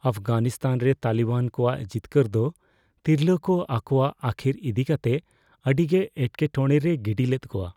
ᱟᱯᱷᱜᱟᱱᱤᱥᱛᱷᱟᱱ ᱨᱮ ᱛᱟᱞᱤᱵᱟᱱ ᱠᱚᱣᱟᱜ ᱡᱤᱛᱠᱟᱹᱨ ᱫᱚ ᱛᱤᱨᱞᱟᱹ ᱠᱚ ᱟᱠᱚᱣᱟᱜ ᱟᱹᱠᱷᱤᱨ ᱤᱫᱤ ᱠᱟᱛᱮ ᱟᱹᱰᱤᱜᱮ ᱮᱴᱠᱮᱼᱴᱚᱲᱮ ᱨᱮᱭ ᱜᱤᱰᱤ ᱞᱮᱫ ᱠᱚᱣᱟ ᱾